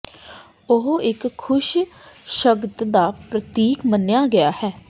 ਉਹ ਇੱਕ ਖੁਸ਼ ਸ਼ਗਨ ਦਾ ਪ੍ਰਤੀਕ ਮੰਨਿਆ ਗਿਆ ਹੈ